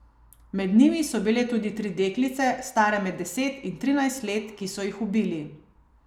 Med njimi so bile tudi tri deklice, stare med deset in trinajst let, ki so jih ubili.